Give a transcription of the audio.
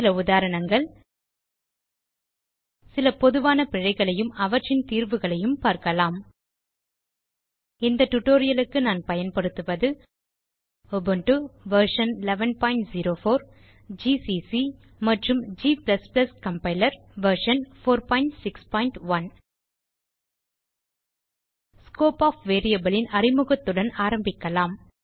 சில உதாரணங்கள் சில பொதுவான பிழைகளையும் அவற்றின் தீர்வுகளையும் பார்க்கலாம் இந்த டியூட்டோரியல் க்கு நான் பயன்படுத்துவது உபுண்டு வெர்ஷன் 1104 ஜிசிசி மற்றும் g compiler version 461 scope of variable ன் அறிமுகத்துடன் ஆரம்பிக்கலாம்